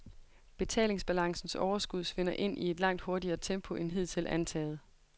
Betalingsbalancens overskud svinder ind i et langt hurtigere tempo, end hidtil antaget.